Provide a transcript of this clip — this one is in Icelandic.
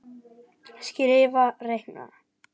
Skrifa- reikna